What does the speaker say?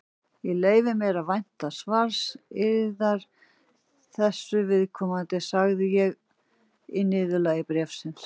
Ég leyfi mér að vænta svars yðar þessu viðkomandi, sagði ég í niðurlagi bréfsins.